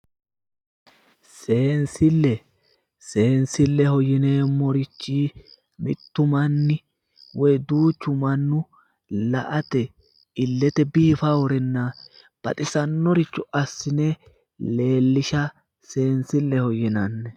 Seensille, seensilleho yineemmorichi mitu manni woy duuchu manni la"ate illete biifare baxisannoricho assi'ne leellisha biinfilleho yinanni.